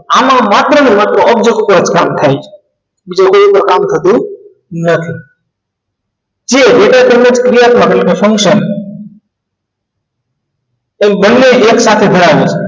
આમાં માત્ર ને માત્ર object ઉપર જ કામ થાય છે બીજા કોઈ ઉપર કામ થતું નથી જે data તમને પક્રિયા function અહીં બંને એકસાથે ભરાય છે